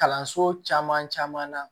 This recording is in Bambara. Kalanso caman caman na